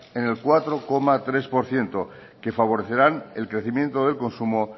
en el cuatro coma tres por ciento que favorecerán el crecimiento del consumo